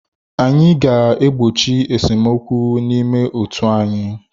Anyị ga-egbochi esemokwu n'ime otu anyị.